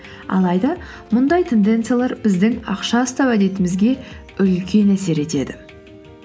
алайда мұндай тенденциялар біздің ақша ұстау әдетімізге үлкен әсер етеді